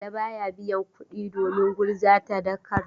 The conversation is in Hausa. Bala ba ya biyan kuɗi domin gurza tadarka.